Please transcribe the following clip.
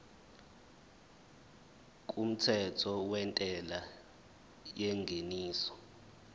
kumthetho wentela yengeniso